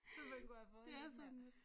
Så man kunne have fået lidt mere